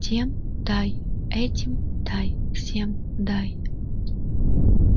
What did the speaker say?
тем дай этим дай всем дай